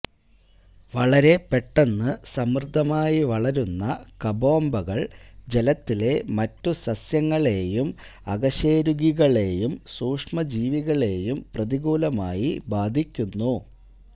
വളരെ പെട്ടെന്ന് സമൃദ്ധമായി വളരുന്ന കബൊംബകൾ ജലത്തിലെ മറ്റു സസ്യങ്ങളേയും അകശേരുകികളേയും സൂക്ഷ്മജീവികളേയും പ്രതികൂലമായി ബാധിക്കുന്നു